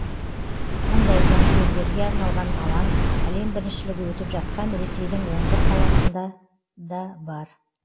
мұндай жанкүйерлерге арналған алаң әлем біріншілігі өтіп жатқан ресейдің он бір қаласында да бар